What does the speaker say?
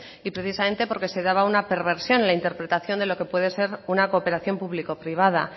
y precisamente porque se daba una perversión en la interpretación de lo que puede ser una cooperación público privada